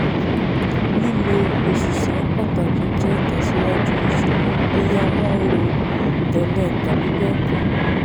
lílọ òṣìṣẹ́ pàtàkì jẹ́ ìtẹ̀síwájú ìsòwò bóyá wọ́n rò tẹ́lẹ̀ tàbí bẹ́ẹ̀ kọ́.